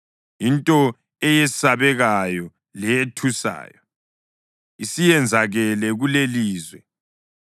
Into eyesabekayo leyethusayo isiyenzakele kulelilizwe: